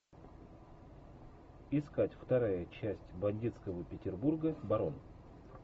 искать вторая часть бандитского петербурга барон